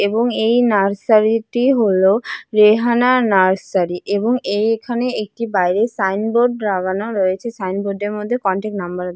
এবং এই নার্সারি টি হল রেহানা নার্সারি এবং এইখানে একটি বাইরে সাইনবোর্ড রাগানো রয়েছে সাইনবোর্ড এর মধ্যে কন্টাক্ট নাম্বার --